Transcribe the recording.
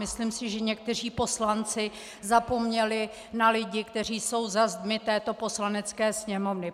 Myslím si, že někteří poslanci zapomněli na lidi, kteří jsou za zdmi této Poslanecké sněmovny.